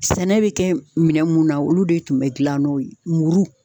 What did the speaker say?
Sɛnɛ be kɛ minɛn mun na olu de tun be gilan n'o ye muru